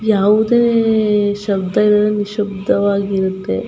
ಯಾವುದೇ ಅಹ್ ಅಹ್ ಶಬ್ದ ಇರುವ್ದು ನಿಶಬ್ದವಾಗಿ ಇರುತೆ.